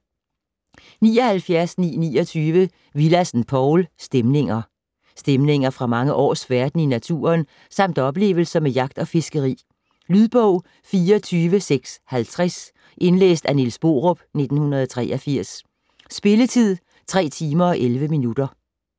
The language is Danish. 79.929 Willadsen, Povl: Stemninger Stemninger fra mange års færden i naturen samt oplevelser med jagt og fiskeri. Lydbog 24650 Indlæst af Niels Borup, 1983. Spilletid: 3 timer, 11 minutter.